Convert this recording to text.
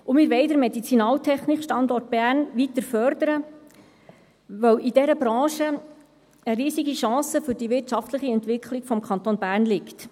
Zudem wollen wir den MedizinaltechnikStandort Bern weiter fördern, weil in dieser Branche eine riesige Chance für die wirtschaftliche Entwicklung des Kantons Bern liegt.